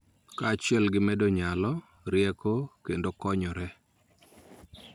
Kaachiel gi medo nyalo, rieko, kendo konyore.